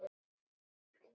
Elsku Katrín.